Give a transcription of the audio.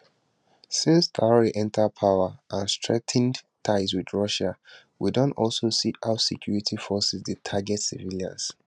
since traor enta power and strengthened ties wit russia we don also see how security forces dey target civilians